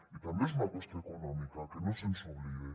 i també és una qüestió econòmica que no se’ns oblide